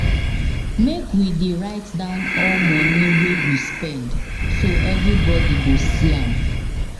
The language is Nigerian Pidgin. Make we dey write down all money wey we spend, so everybody go see am.